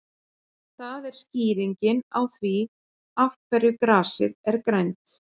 Það er skýringin á því af hverju grasið er grænt.